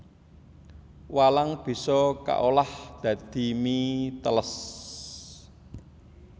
Walang bisa kaolah dadi mie teles